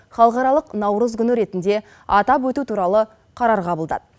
халықаралық наурыз күні ретінде атап өту туралы қарар қабылдады